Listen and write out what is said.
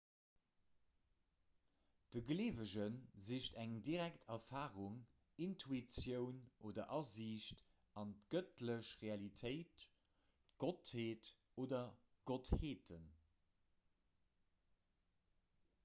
de gleewege sicht eng direkt erfarung intuitioun oder asiicht an d'gëttlech realitéit/d'gottheet oder gottheeten